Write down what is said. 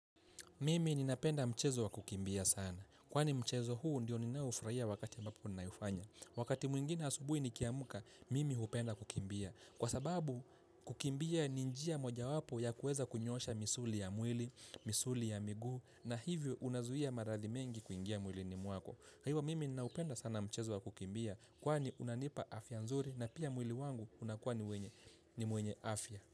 Mimi ninapenda mchezo wa kukimbia sana, kwani mchezo huu ndiyo ninaoufurahia wakati ambapo ninaoufanya. Wakati mwingine asubuhi nikiamka, mimi hupenda kukimbia. Kwa sababu, kukimbia ni njia mojawapo ya kuweza kunyoosha misuli ya mwili, misuli ya migu, na hivyo unazuia maradhi mengi kuingia mwilini mwako. Kwa hivyo, mimi ninaupenda sana mchezo wa kukimbia, kwani unanipa afya nzuri na pia mwili wangu unakuwa ni wenye ni mwenye afya.